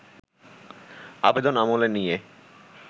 আবেদন আমলে নিয়ে